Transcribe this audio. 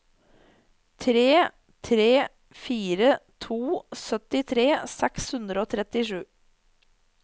tre tre fire to syttitre seks hundre og trettisju